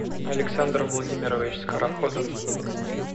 александр владимирович скороходов